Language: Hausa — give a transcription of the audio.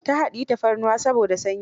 Ta haɗiyi tafarnuwa saboda sanyi.